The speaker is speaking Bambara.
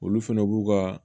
Olu fɛnɛ b'u ka